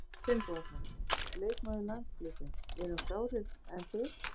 Alfreð Finnbogason, leikmaður landsliðsins: Við erum klárir, en þið?